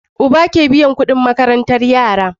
Uba ke biyan Ƙudin makarantar yara